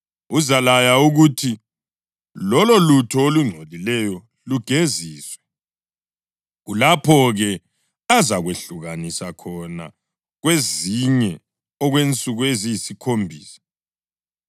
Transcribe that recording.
uzalaya ukuthi lololutho olungcolileyo lugeziswe. Kulapho-ke azakwehlukanisa khona kwezinye okwensuku eziyisikhombisa.